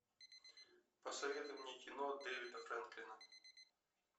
посоветуй мне кино дэвида фрэнклина